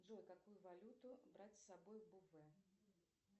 джой какую валюту брать с собой в бувэ